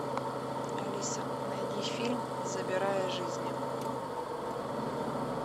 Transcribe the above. алиса найди фильм забирая жизни